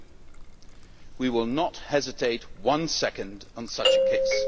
2. We will not hesitate for one second in such a case.